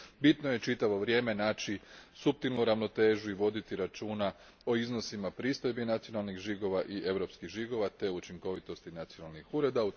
Bitno je čitavo vrijeme naći suptilnu ravnotežu i voditi računa o iznosima pristojbi nacionalnih žigova i europskih žigova te učinkovitosti nacionalnih ureda.